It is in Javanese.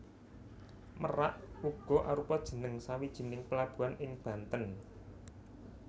Merak uga arupa jeneng sawijining pelabuhan ing Banten